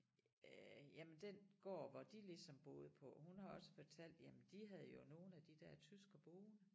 Øh jamen den gård hvor de ligesom boede på hun har også fortalt jamen de havde jo nogle af de der tyskere boende